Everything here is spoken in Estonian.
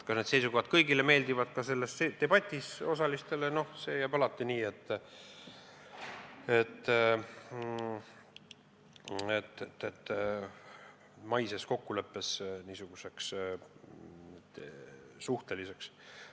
Kas need seisukohad meeldivad kõigile, ka selle debati osalistele, see jääb maises kokkuleppes alati niisuguseks suhteliseks.